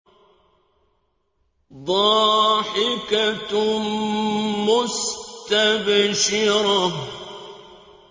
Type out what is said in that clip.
ضَاحِكَةٌ مُّسْتَبْشِرَةٌ